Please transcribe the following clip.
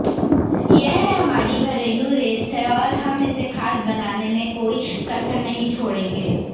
यह हमारी घरेलू रेस है और हम इसे खास बनाने में कोई कसर नहीं छोड़ेंगे